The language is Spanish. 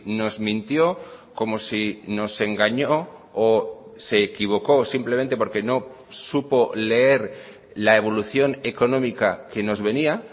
nos mintió como si nos engañó o se equivocó simplemente porque no supo leer la evolución económica que nos venía